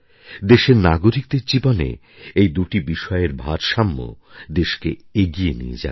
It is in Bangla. দেশের নাগরিকদের জীবনে এই দুটি বিষয়ের ভারসাম্য দেশকে এগিয়ে নিয়ে যাবে